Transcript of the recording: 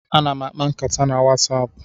Ana m akpa nkata na Wasapu.